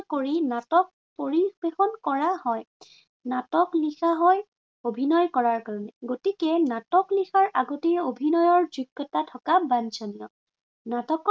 কৰি নাটক পৰিবেশন কৰা হয়। নাটক লিখা হয় অভিনয় কৰাৰ কাৰণে, গতিকে নাটক লিখাৰ আগতে অভিনয়ৰ যোগ্য়তা থকা বাঞ্চনীয়। নাটকত